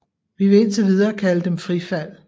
Vi vil indtil videre kalde dem frifald